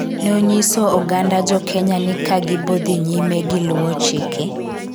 ne onyiso oganda jokenya ni kagibodhi nyime gi luwo chike